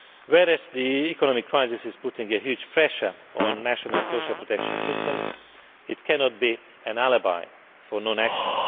While the economic crisis is placing a huge pressure on national social protection systems, it cannot be an alibi for non action.